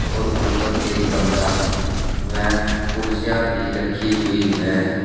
और ऊपर एक गमला व कुर्सियां भी रखी हुई है।